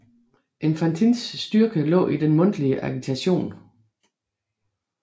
Enfantins styrke lå i den mundtlige agitation